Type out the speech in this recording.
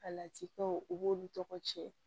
Alatikɛw u b'olu tɔgɔ tiɲɛ